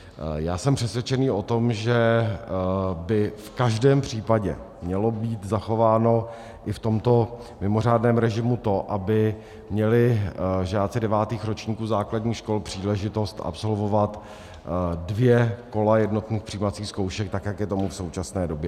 Já jsem přesvědčený o tom, že by v každém případě mělo být zachováno i v tomto mimořádném režimu to, aby měli žáci devátých ročníků základních škol příležitost absolvovat dvě kola jednotných přijímacích zkoušek, tak jak je tomu v současné době.